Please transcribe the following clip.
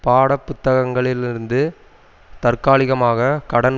பாடப்புத்தகங்களிலிருந்து தற்காலிகமாக கடன்